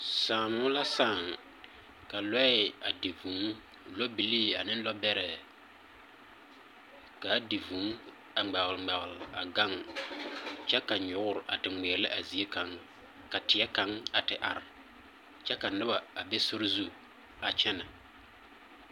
Saamo la saaŋ, ka lɔɛ a di vŭŭ, lɔbilii ane lɔbɛrɛ. K'a di vŭŭ a ŋmɛoŋmɛol a gaŋ kyɛ ka nyoor a te ŋmeɛlɛ a zie kaŋ, ka teɛ kaŋ a te ar kyɛ ka noba a be sori zu a kyɛnɛ.